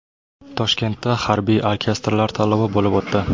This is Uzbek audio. Toshkentda harbiy orkestrlar tanlovi bo‘lib o‘tdi.